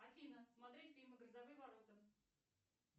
афина смотреть фильмы грозовые ворота